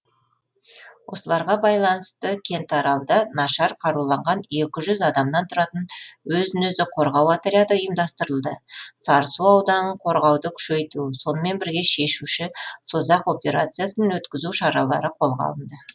осыларға байланысты кентаралда нашар қаруланған екі жүз адамнан тұратын өзін өзі қорғау отряды ұйымдастырылды сарысу ауданын қорғауды күшейту сонымен бірге шешуші созақ операциясын өткізу шаралары қолға алынды